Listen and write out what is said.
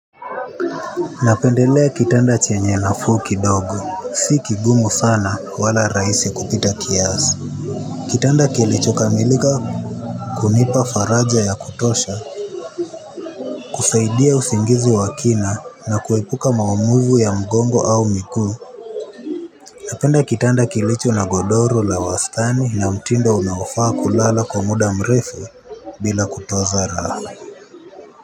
Napendelea kitanda chenye nafu kidogo, si kigumu sana wala raisi kupita kiazi. Kitanda kilicho kamilika kunipa faraja ya kutosha, kusaidia usingizi wa kina na kuepuka maumuvu ya mgongo au miguu. Napenda kitanda kilicho na godoro la wastani na mtindo unaofaa kulala kwa muda mrefu bila kutoza raha.